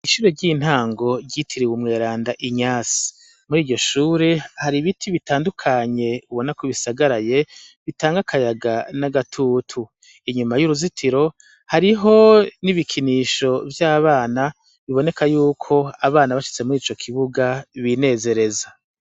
Icure ry'intango ryitiriwe umweranda inyasi muri iryo shure hari ibiti bitandukanye ubona kubisagaraye bitange akayaga n'agatutu inyuma y'uruzitiro hariho n'ibikinisho vy'abana biboneka yuko abana bashitse muri ico kibuga binezereza.